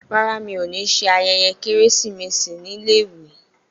Rárá, mi ò ní ṣe ayẹyẹ Kérésìmesì ní iléèwé.